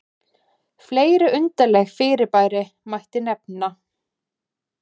fleiri undarleg fyrirbæri mætti nefna